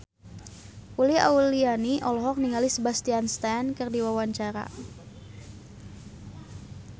Uli Auliani olohok ningali Sebastian Stan keur diwawancara